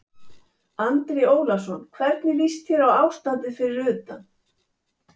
Andri Ólafsson: Hvernig líst þér á ástandið fyrir utan?